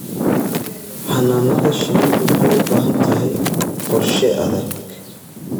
Xannaanada shinnidu waxay u baahan tahay qorshe adag.